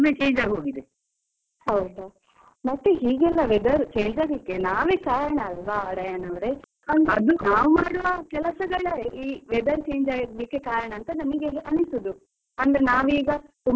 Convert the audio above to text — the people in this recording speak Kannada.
ಹೌದ, ಮತ್ತೆ ಹೀಗೆಲ್ಲಾ weather change ಆಗಲಿಕ್ಕೆ ನಾವೇ ಕಾರಣ ಅಲ್ವಾ ಡಯಾನಾ ಅವ್ರೆ? ಮಾಡುವ ಕೆಲಸಗಳ ಈ weather change ಆಗಲಿಕ್ಕೆ ಕಾರಣ ಅಂತ ನಮಿಗೆ ಅನಿಸೋದು. ಅಂದ್ರೆ ನಾವೀಗ ತುಂಬಾ develop ಆಗ್ತಿದ್ದೇವೆ.